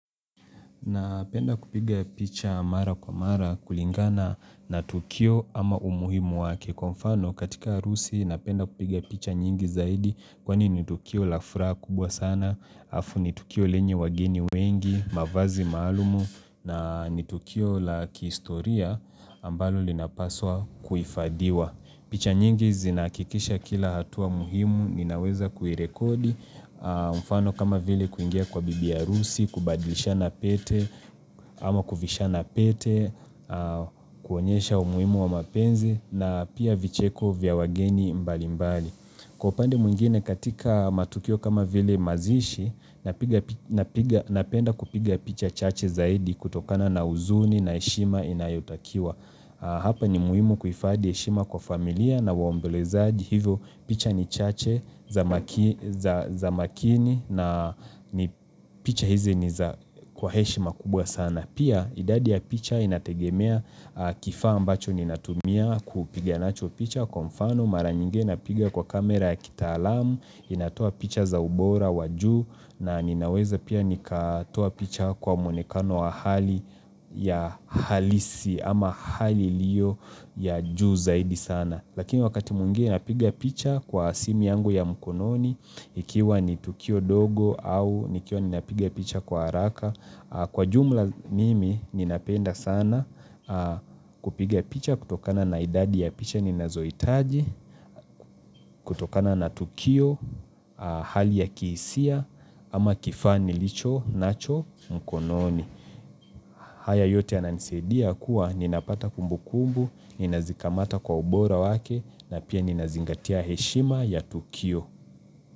Napenda kupiga picha mara kwa mara kulingana na tukio ama umuhimu wa kikonfano katika arusi napenda kupiga picha nyingi zaidi kwani ni tukio la furaha kubwa sana, halafu ni tukio lenye wageni wengi, mavazi maalumu na ni tukio la kihistoria ambalo linapaswa kuhifadhiwa. Picha nyingi zinakikisha kila hatua muhimu, ninaweza kuirekodi, mfano kama vile kuingia kwa bibi harusi, kubadilishana pete, ama kuvishana pete, kuonyesha umuhimu wa mapenzi, na pia vicheko vya wageni mbali mbali. Kwa upande mwingine katika matukio kama vile mazishi napenda kupiga picha chache zaidi kutokana na uzuni na heshima inayotakiwa. Hapa ni muhimu kuhifadhi heshima kwa familia na waombelezaji hivyo picha ni chache za makini na picha hizi ni kwa heshima kubwa sana. Na pia idadi ya picha inategemea kifaa ambacho ninatumia kupigia nacho picha kwa mfano maranyingi napigia kwa kamera ya kitaalamu, inatoa picha za ubora wa juu na ninaweza pia nikatoa picha kwa mwonekano wa hali ya halisi ama hali iliyo ya juu zaidi sana. Lakini wakati mwingi napiga picha kwa simi yangu ya mkononi ikiwa ni tukio dogo au nikiwa ni napigia picha kwa haraka. Kwa jumla mimi ninapenda sana kupigia picha kutokana na idadi ya picha ninazohitaji, kutokana na tukio, hali ya kihisia ama kifaa nilicho nacho mkononi. Haya yote yananisadia kuwa ninapata kumbu kumbu, ninazikamata kwa ubora wake na pia ninazingatia heshima ya Tukio.